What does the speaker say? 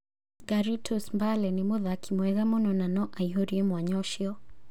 Garitos Mbale nĩ mũthaki mwega mũno na no aihũrie mwanya ũcio".